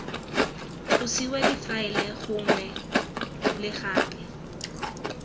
tlosiwa difaele gangwe le gape